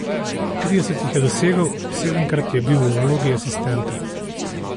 Trideset jih je dosegel, sedemkrat je bil v vlogi asistenta.